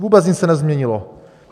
Vůbec nic se nezměnilo.